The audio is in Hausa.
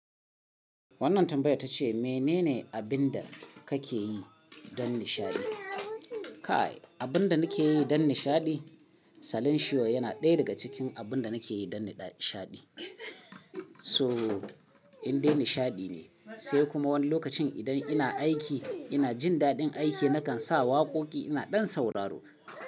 Wannan tambayar ta ce, menene abin da kake yi don nishaɗi? Kai, abin da nake yi don nishaɗi? Salin shiyo yana ɗaya daga cikin abin da nake yi don nishaɗi. So, in dai nishaɗi ne, sai kuma wani lokacin idan ina aiki ina jin daɗin aiki nakan sa waƙoƙi ina ɗan sauraro.